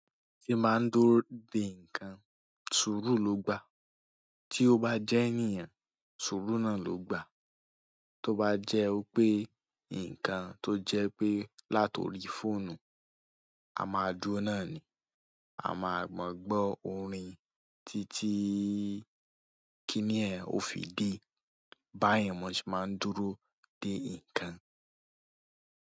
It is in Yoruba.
Ti báa ń dúró de ǹkan, sùúrù ló gbà. Tí ó bá jẹ́ ènìyàn, sùúrù náà ló gbà. Tó bá jẹ́ pé ǹkan tó jẹ́ pé láti orí fóònù, a máa dúró náà ni. A máa gbọ́ orin títí kíní ẹ̀n ò fi dé. Báyẹn mo ṣe máa ń dúró de ǹkan.